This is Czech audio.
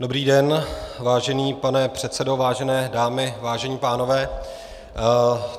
Dobrý den, vážený pane předsedo, vážené dámy, vážení pánové.